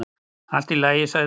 """Allt í lagi, sagði hún."""